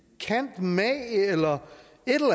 eller